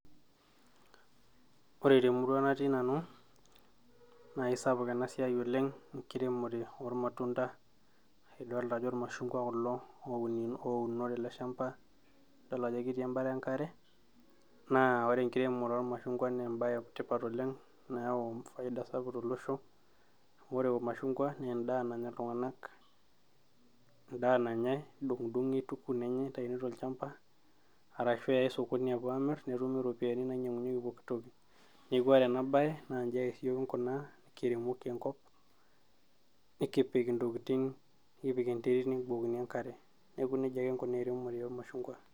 ore temurua natii nanu naa kisapuk ena siai oleng enkiremore ormatunda aa idolita ajo irmashungwa kulo ouno tele shamba idol ajo ketii embata enkare naa ore enkiremore oormashungwa naa embaye etipat oleng nayau faida sapuk tolosho amu ore irmashungwa naa endaa nanya iltung'anak endaa nanyay nedung'idung'i aituku nenyay nitaini tolchamba arashu eyay sokoni aapuo amirr netumi iropiyiani naninyiang'unyieki pokitoki neeku ore ena baye naa inji ake siiyiok kinkunaa nikiremoki enkop nikipik intokitin nikipik enterit nebukokini enkare neeku nejia kinkunaa eremore ormashungwa.